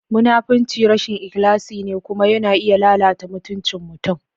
Munafunci rashin ikhlasi ne kuma yana iya lalata mutuncin mutum.